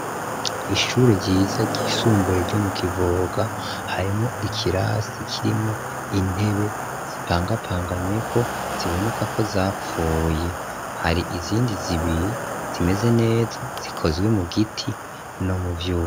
Ishure ryiza ry'isumbuye ryo mu kivoga harimo ikirasi ikirimwo intebe zipangapanganzeko ziboneka ko zapfuye hari izindi zibiri zimeze neza zikozwe mu giti no mu vyuba.